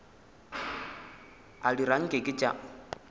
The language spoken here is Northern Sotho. a dira nke ke tša